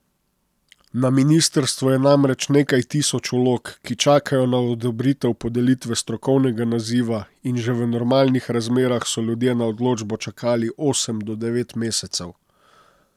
Na ministrstvu je namreč nekaj tisoč vlog, ki čakajo na odobritev podelitve strokovnega naziva in že v normalnih razmerah so ljudje na odločbo čakali osem do devet mesecev.